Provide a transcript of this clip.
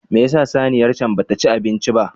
Me yasa saniyar can bata ci abinci ba?